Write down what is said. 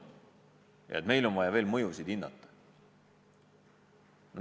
Meil on justkui vaja veel mõjusid hinnata.